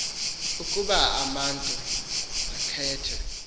ukuba umatu akhethe